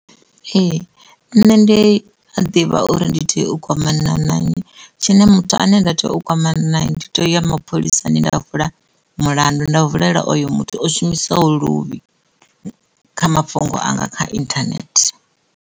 Ee, nṋe ndi a ḓivha uri ndi tea u kwamana na nnyi tshine muthu ane nda tea u kwamana naye ndi tea u ya mapholisani nda vula mulandu nda vulela oyo muthu o shumisaho luvhi kha mafhungo anga kha inthanethe.